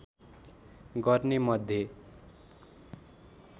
गर्ने मध्ये